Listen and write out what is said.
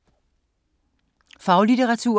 Faglitteratur